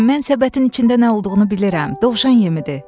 Mən səbətin içində nə olduğunu bilirəm, dovşan yemidir.